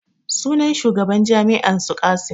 Sunan shugaban jami'an su Qassim